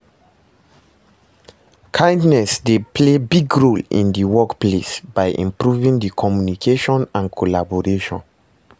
Kindness dey play big role in di workplace by improving di communication and collaboration.